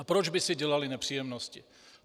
A proč by si dělali nepříjemnosti?